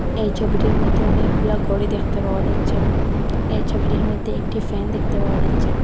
এই ছবিটির মধ্যে অনেকগুলা ঘড়ি দেখতে পাওয়া যাচ্ছে এই ছবিটির মধ্যে একটি ফ্যান দেখতে পাওয়া যাচ্ছে।